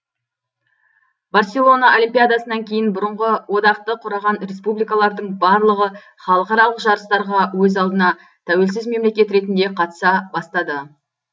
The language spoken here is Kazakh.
барселона олимпиадасынан кейін бұрынғы одақты құраған республикалардың барлығы халықаралық жарыстарға өз алдына тәуелсіз мемлекет ретінде қатыса бастады